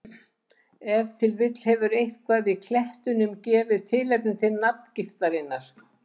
Ef til vill hefur eitthvað í klettunum gefið tilefni til nafngiftarinnar.